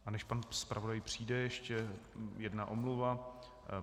A než pan zpravodaj přijde, ještě jedna omluva.